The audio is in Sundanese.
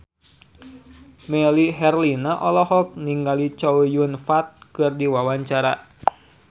Melly Herlina olohok ningali Chow Yun Fat keur diwawancara